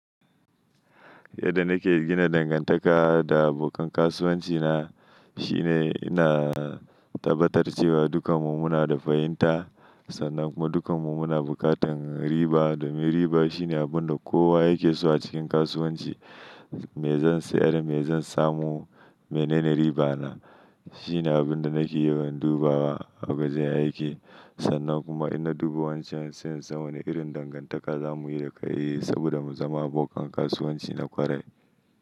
Yadda nake gina dangantaka da abokan kasuwanci na shine ina tabbatar cewa dukkanmu muna da fahimta sannan kuma dukkanmu muna buƙatar riba. Riba shine abin da kowa yake so a cikin kasuwanci. Me zan sayar? Me zan samu? Menene riba na? Shine abin da nake yawan dubawa a wajen aiki. Sannan kuma in na duba wancan, sai in san wane irin dangantaka za mu yi da kai saboda mu zama abokan kasuwanci na kwarai.